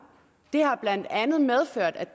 det har blandt andet medført at